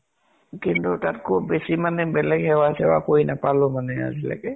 কিন্তু তাত্কৈ বেছি মানে বেলেগ সেৱা চেৱা কৰি নাপালো মানে আজিলৈকে।